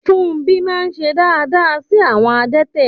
Fúnmbí máà ń ṣe dááda sí àwọn adẹ́tẹ̀